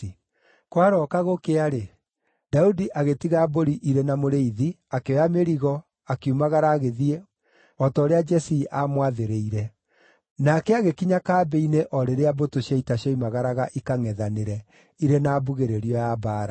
Kwarooka gũkĩa-rĩ, Daudi agĩtiga mbũri irĩ na mũrĩithi, akĩoya mĩrigo, akiumagara agĩthiĩ, o ta ũrĩa Jesii aamwathĩrĩire. Nake agĩkinya kambĩ-inĩ o rĩrĩa mbũtũ cia ita cioimagaraga ikangʼethanĩre, irĩ na mbugĩrĩrio ya mbaara.